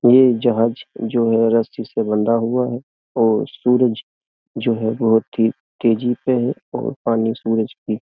ये जहाज जो है रस्सी से बंधा हुआ है और सूरज जो है बोहोत ही तेजी पे है और पानी सूरज की --